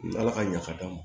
Ala ka ɲa ka d'an ma